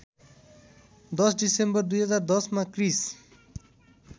१० December २०१० मा क्रिस्